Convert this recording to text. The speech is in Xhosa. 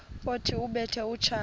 othi ubethe utshaka